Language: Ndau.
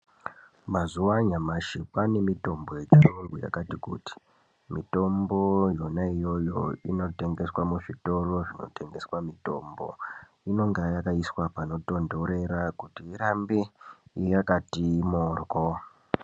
Mazuva anyamashi kwane mitombo yechiyungu yakati kuti. Mitombo yona iyoyo inotengeswa muzvitoro zvinotengeswa mitombo. Inonga yakaiswa panotonhorera kuti irambe yakati moryo.